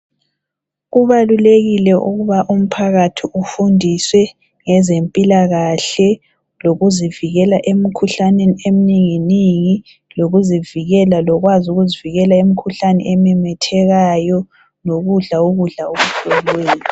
Kubalulekile ukuba umphakathi ufundiswe ngezempilakahle lokuzivikela emkhuhlameni eminingi ningi lokuzivikela lokwazi ukuzivikela emikhuhlane ememethekayo lokudla ukudla okuhloliweyo